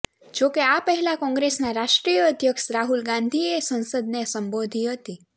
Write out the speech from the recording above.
જોકે આ પહેલા કોંગ્રેસના રાષ્ટ્રીય અધ્યક્ષ રાહુલ ગાંધીએ સંસદને સંબોધી હતી